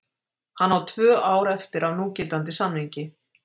Hann á tvö ár eftir af núgildandi samningi.